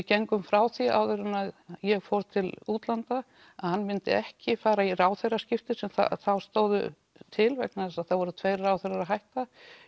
gengum frá því áður en ég fór til útlanda að hann myndi ekki fara í ráðherraskipti sem þá stóðu til vegna þess að það voru tveir ráðherrar að hætta